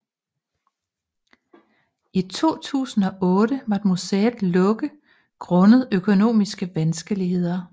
I 2008 måtte museet lukke grundet økonomiske vanskeligheder